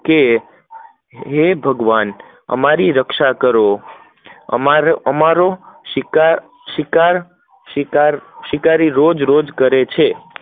કે ભગવાન, અમારી રક્ષા કરો, અમારો શિકાર શિકાર શિકાર શિકારી રો રોજ કરે છે